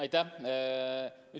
Aitäh!